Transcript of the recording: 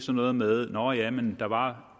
noget med nåh jamen der var